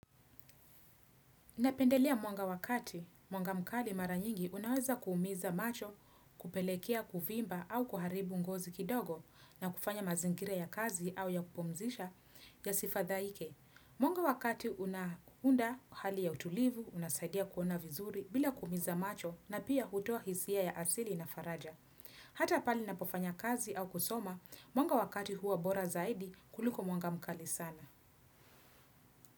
Napendelea mwanga wa kati, mwanga mkali mara nyingi unaweza kuumiza macho, kupelekea, kuvimba au kuharibu ngozi kidogo na kufanya mazingira ya kazi au ya kupumzisha yasifadhaike. Mwanga wa kati unaunda hali ya utulivu, unasaidia kuona vizuri bila kuumiza macho na pia hutoa hisia ya asili na faraja. Hata pahali ninaapo fanya kazi au kusoma, mwanga wa kati huwa bora zaidi kuliko mwanga mkali sana.